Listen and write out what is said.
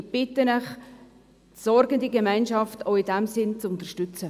Ich bitte Sie, die «Sorgende Gemeinschaft» auch in diesem Sinne zu unterstützen.